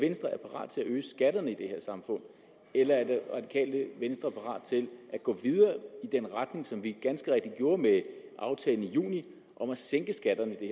venstre er parat til at øge skatterne i det her samfund eller er det radikale venstre parat til at gå videre i den retning som vi ganske rigtigt gjorde med aftalen i juni og sænke skatterne i